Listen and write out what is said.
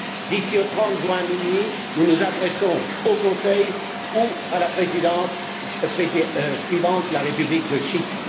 D'ici au 30 juin à minuit, nous nous adresserons au Conseil ou à la Présidence suivante, la République de Chypre.